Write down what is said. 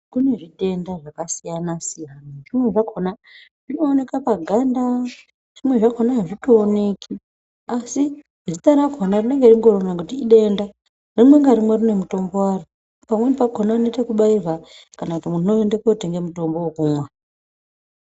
Kune zvitenda zvakasiyana siyana zvimweni zvakona zvinooneka paganda zvimweni azvitoonekwi asi zita rakona ringoriro ngekuti idenda rimwe ngarimwe rine mutombo waro pamweni pakona muntu unoite ekubairwa kana kuti muntu unoende kotenga mutombo wekumwa